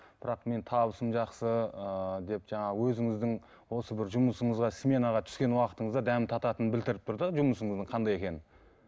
бірақ менің табысым жақсы ыыы деп жаңа өзіңіздің осы бір жұмысыңызға сменаға түскен уақытыңызда дәмін тататынын білдіріп тұр да жұмысыңыздың қандай екенін